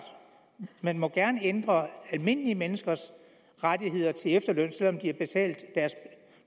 man må gerne ændre almindelige menneskers rettigheder til efterløn selv om de har betalt deres